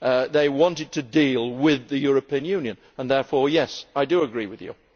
They wanted to deal with the European Union and therefore, yes, I agree with you.